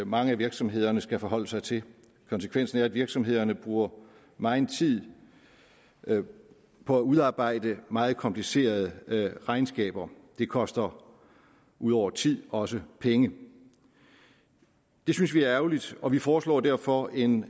mange af virksomhederne skal forholde sig til konsekvensen er at virksomhederne bruger megen tid på at udarbejde meget komplicerede regnskaber det koster ud over tid også penge det synes vi er ærgerligt og vi foreslår derfor en